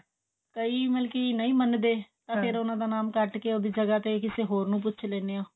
ਕਈ ਮਤਲਬ ਕਿ ਨਹੀਂ ਮਨਦੇ ਤਾਂ ਫੇਰ ਉਹਨਾਂ ਦਾ ਨਾਮ ਕੱਟ ਕੇ ਉਹਦੀ ਜਗ੍ਹਾ ਤੇ ਕਿਸੇ ਹੋਰ ਨੂੰ ਪੁੱਛ ਲੈਂਦੇ ਹਾਂ